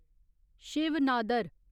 Shiv Nadar